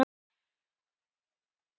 Þetta er fyrir alla.